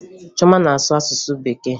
Chioma na-asụ asụsụ Bekee